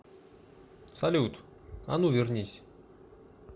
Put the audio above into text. салют а ну вернись